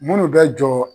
Minnu bɛ jɔ